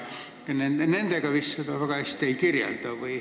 Nendega seda vist väga hästi ei kirjelda.